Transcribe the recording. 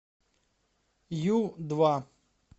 ю два